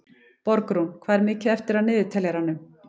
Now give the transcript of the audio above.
Borgrún, hvað er mikið eftir af niðurteljaranum?